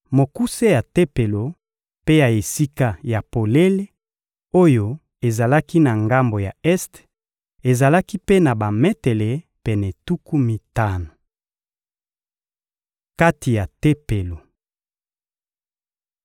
Mokuse ya Tempelo mpe ya esika ya polele oyo ezalaki na ngambo ya este ezalaki mpe na bametele pene tuku mitano. Kati ya Tempelo